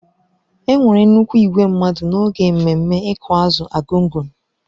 Enwere nnukwu igwe mmadụ n'oge mmemme ịkụ azụ Argungun.